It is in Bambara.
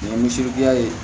Ni seriki ya ye